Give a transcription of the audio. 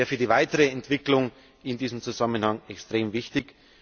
Das wäre für die weitere Entwicklung in diesem Zusammenhang extrem wichtig.